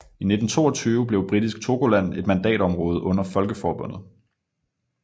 I 1922 blev Britisk Togoland et mandatområde under Folkeforbundet